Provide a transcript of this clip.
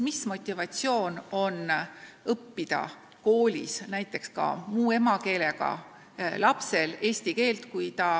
Mis motivatsioon on ka muukeelsel lapsel õppida koolis eesti keelt?